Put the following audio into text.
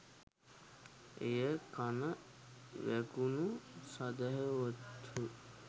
එය කණ වැකුණු සැදැහැවත්හු